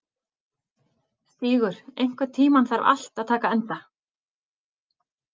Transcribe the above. Stígur, einhvern tímann þarf allt að taka enda.